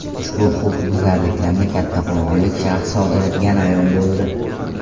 Ushbu huquqbuzarlikni kattaqo‘rg‘onlik shaxs sodir etgani ayon bo‘ldi.